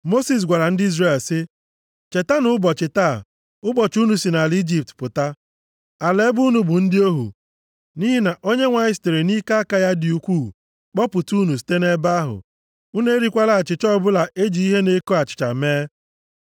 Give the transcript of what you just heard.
Mosis gwara ndị Izrel sị, “Chetanụ ụbọchị taa, ụbọchị unu si nʼala Ijipt pụta, ala ebe unu bụ ndị ohu, nʼihi na Onyenwe anyị sitere nʼike aka ya dị ukwu kpọpụta unu site nʼebe ahụ. Unu erikwala achịcha ọbụla e ji ihe na-eko achịcha mee.